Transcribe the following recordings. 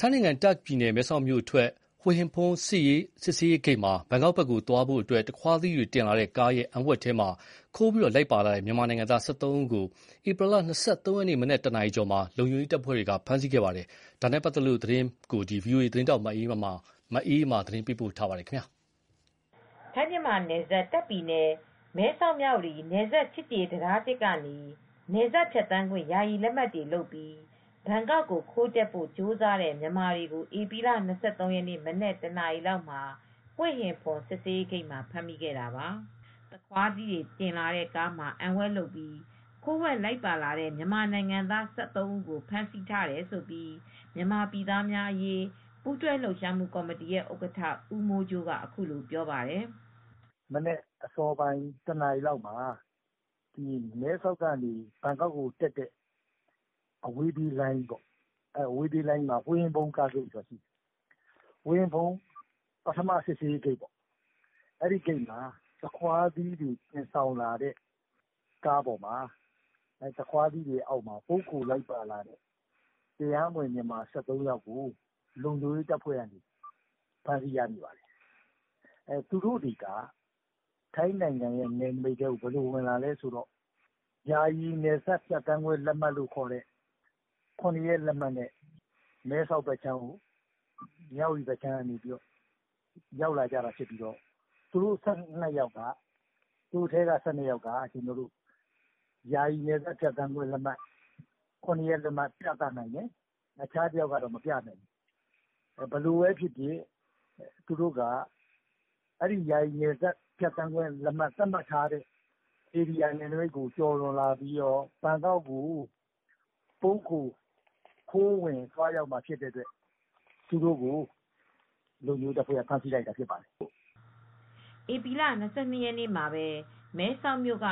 ထိုင်းနိုင်ငံ၊ တာ့ခ်ပြည်နယ် မဲဆောက်မြို့အထွက် ဟွေ့ဟင်ဖွန်စစ်ရေးဂိတ်မှာ ဘန်ကောက်ဘက်ကိုသွားဖို့ သခွါးသီးတွေတင်လာတဲ့ကားရဲ့အံဝှက်ထဲမှာ ခိုးပြီးလိုက်ပါလာတဲ့ မြန်မာနိုင်ငံသား ၁၃ ဦးကို ဧပြီလ ၂၃ ရက်နေ့မနက် နာရီကျော်မှာ လုံခြုံရေးတပ်ဖွဲ့တွေက ဖမ်းဆီးခဲ့ပါတယ်။ ဒီသတင်းကို ဗွီအိုအေ သတင်းထောက်မအေးအေးမာက သတင်းပေးပို့ထားပါတယ်။ ထိုင်းမြန်မာနယ်စပ် တာ့ခ်ပြည်နယ် မဲဆောက် မြဝတီနယ်စပ် ချစ်ကြည်ရေးတံတားက နယ်စပ်ဖြတ်သန်းခွင့် ယာယီလက်မှတ်တွေလုပ်ပြီး ဘန်ကောက်ကို ခိုးတက်ဖို့ကြိုးစားတဲ့မြန်မာတွေကို ဧပြီလ ၂၃ ရက်နေ့မနက် နာရီလောက်မှာ ဟွေဟင်ဖွန်စစ်ဆေးဂိတ်မှာ ဖမ်းမိတာပါ။ သခွါးသီးတွေတင်လာတဲ့ကားမှာ အံဝှက်လုပ်ပြီး ခိုးဝှက်လိုက်ပါလာတဲ့ မြန်မာနိုင်ငံသား ၁၃ ဦးလုံး ဖမ်းဆီးထားတယ်လို့ မြန်မာပြည်သားများအရေး ပူးတွဲလှုပ်ရှားမူကော်မတီရဲ့ဥက္ကဌ ဦးမိုးကြိုးက အခုလိုပြောပါတယ်။ "ဧပြီလ ၂၃ ရက်နေ့ မနက်အစောပိုင်း နာရီလောက်မှာ မဲဆောက်ကနေ ဘန်ကောက်အတက် ဟွေဟင်ဖွန် ပထမ စစ်ဆေးရေးဂိတ်မှာ သခွါးသီးတွေသယ်လာတဲ့ကားပေါ် ပုန်းခိုလိုက်လာတဲ့မြန်မာနိုင်ငံသား ၁၃ ယောက်ကို လုံခြုံရေးတပ်ဖွဲ့တွေက ဖမ်းမိပါတယ်။ သူတို့တွေက ထိုင်းနယ်နမိတ်ထဲကို ဘယ်လိုဝင်လာသလဲဆိုတော့ မဲဆောက်ထဲကို မြန်ဝတီကနယ်စပ် ယာယီနယ်စပ်လက်မှတ်နဲ့ ရောက်လာတာဖြစ်ပြီး သူတို့ထဲက ၁၂ ယောက်က ယာယီနယ်စပ်ဖြတ်သန်းခွင့် ၇ ရက် လက်မှတ်ပြနိုင်ပြီး နောက်တဦးကတော့မပြနိုင်ဘူး။ သူတို့တွေဟာ ယာယီသတ်မှတ်ထားတဲ့နယ်စပ်ကိုကျော်လွန်လာပြီး ဘန်ကောက်ကို ပုန်းခိုပြီး ခိုးဝင်သွားမှာဖြစ်တဲ့အတွက် သူတို့ကို လုံခြုံရေးတပ်ဖွဲ့က ဖမ်းမိထားတာဖြစ်ပါတယ်။" ဧပြီလ ၂၂ ရက်နေ့မှာပဲ မဲဆောက်မြို့က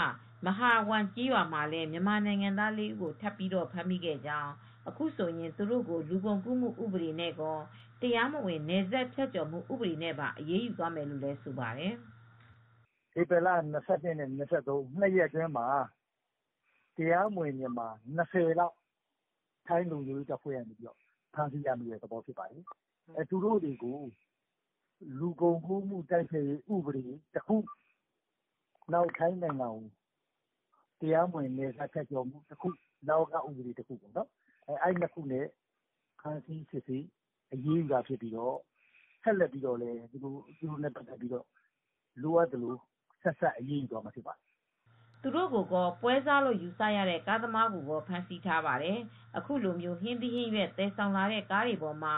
မဟာဝမ်ကျေးရွာမှာပဲ မြန်မာနိုင်ငံသား ၄ ဦးကို ထပ်ပြီးဖမ်းမိခဲ့ကြောင်း၊ အခုဆိုရင် သူတို့ကို လူကုန်ကူးမှုဥပဒေကောတရားမဝင်နယ်စပ်ဖြတ်ကျော်မှုနဲ့ပါ အရေးယူသွားမယ်လို့ဆိုပါတယ်။ "ဧပြီလ၂၂ နဲ့ ၂၃ ရက် နှစ်ရက်အတွင်းမှာ တရားမဝင် မြန်မာ ၂၀ လောက် ဖမ်းမိပါတယ်။ သူတို့တွေကို လူကုန်ကူးမှုတိုက်ဖျက်ရေးဥပဒေတခု ထိုင်းနိုင်ငံကို တရားမဝင် နယ်စပ်ဖြတ်ကျော်မှုဥပဒေတခုနဲ့ အရေးယူမှာဖြစ်ပြီး နောက်ထပ်လည်းစစ်ဆေးပြီး ဆက်စပ်သူတွေကိုအရေးယူသွားမှာ ဖြစ်ပါတယ်။" သူတို့ကိုကော ပွဲစားလို့ယူဆရတဲ့ကားသမားကိုကော ဖမ်းဆီးထားပါတယ်။ အခုလို ဟင်းသီးဟင်းရွက်သယ်ဆောင်လာတဲ့ကားတွေပေါ်မှာ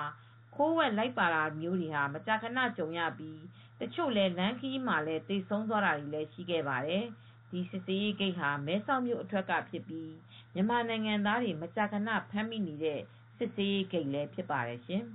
ခိုးဝှက်လိုက်ပါတာမျိုးတွေ မကြာခဏကြုံရပြီး တချို့လည်း လမ်းခရီးမှာတင် သေဆုံးတာတွေလည်းရှိခဲ့ပါတယ်။ ဒီစစ်ဆေးရေးဂိတ်ဟာ မဲဆောက်မြို့အထွက်ကဖြစ်ပြီး မြန်မာနိုင်ငံသားတွေ မကြာခဏဖမ်းမိနေတဲ့ စစ်ဆေးရေးဂိတ်လည်းဖြစ်ပါတယ်ရှင်။